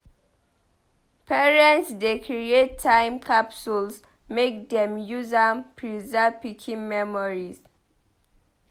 Parents dey create time capsules make dem use am preserve pikin memories.